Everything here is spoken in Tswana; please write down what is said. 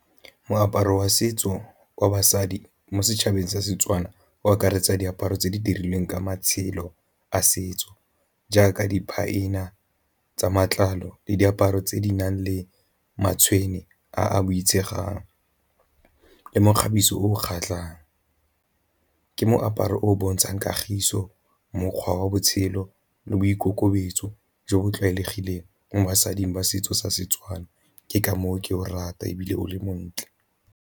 Moaparo wa setso wa basadi mo setšhabeng sa Setswana o akaretsa diaparo tse di dirilweng ka matshelo a setso jaaka di tsa matlalo le diaparo tse di nang le matshwene a a boitshegang, le mekgabiso o kgatlhang. Ke moaparo o o bontshang kagiso, mokgwa wa botshelo, le boikokobetso jo bo tlwaelegileng mo basading ba setso sa Setswana. Ke ka moo ke o rata ebile o le montle.